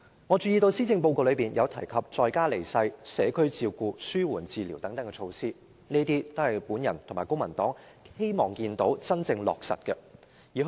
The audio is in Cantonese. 我注意到施政報告提及在家離世、社區照顧、紓緩治療等，這些都是我和公民黨希望看到能真正落實的措施。